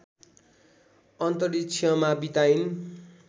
अन्तरिक्षमा बिताइन्